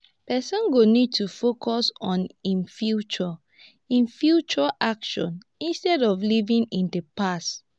person go need to focus on im future im future actions instead of living in the past